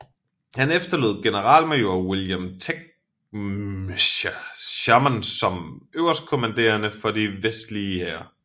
Han efterlod generalmajor William Tecumseh Sherman som øverstkommanderende for de vestlige hære